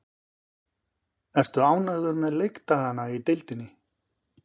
Ertu ánægður með leikdagana í deildinni?